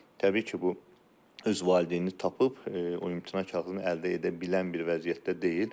Təbii ki, bu öz valideynini tapıb o imtina kağızını əldə edə bilən bir vəziyyətdə deyil.